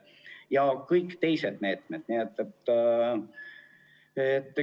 Ja meetmeid on teisigi.